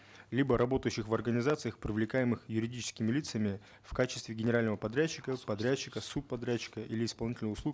либо работающих в организациях привлекаемых юридическими лицами в качестве генерального подрядчика подрядчиков субподрядчика или исполнителя услуг